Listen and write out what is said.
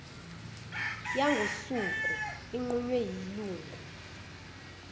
yangosuku inqunywe yilungu